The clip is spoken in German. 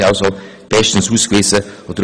Sie sind somit beide sehr geeignet.